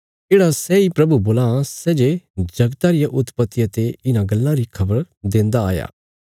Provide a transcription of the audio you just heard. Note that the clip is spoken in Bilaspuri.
येढ़ा सैई प्रभु बोलां सै जे जगता रिया उत्पतिया ते इन्हां गल्लां री खबर देन्दा आया